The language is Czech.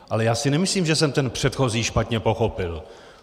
Ale já si nemyslím, že jsem ten předchozí špatně pochopil.